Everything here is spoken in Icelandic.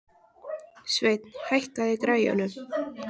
Sveinn, hækkaðu í græjunum.